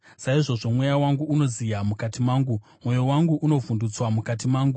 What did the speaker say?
Saizvozvo mweya wangu unoziya mukati mangu; mwoyo wangu unovhundutswa mukati mangu.